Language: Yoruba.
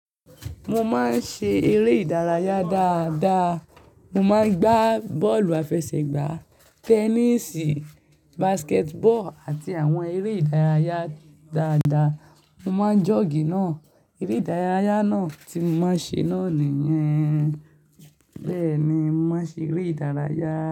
Mo máa ń ṣe eré ìdárayá dáadáa. Mo máa ń gbá bọ́ọ̀lù àfẹsẹ̀gbá, tẹnísì, basket ball àti àwọn eré ìdárayá dáadáa. Mo máa ń jọ̀ọ́gì náà. Eré ìdárayá náà tí mo máa ń ṣe náà nìyen. Bẹ́ẹ̀ni, mo máa ń ṣe eré ìdárayá.